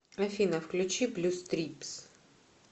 афина включи блю стрипс